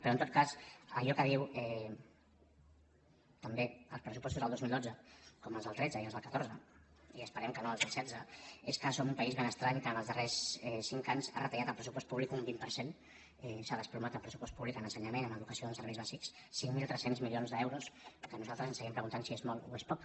però en tot cas allò que diuen també els pressupostos del dos mil dotze com els del tretze i els del catorze i esperem que no els del setze és que som un país ben estrany que en els darrers cinc anys ha retallat el pressupost públic un vint per cent s’ha desplomat el pressupost públic en ensenyament en educació en serveis bàsics cinc mil tres cents milions d’euros que nosaltres ens seguim preguntant si és molt o és poc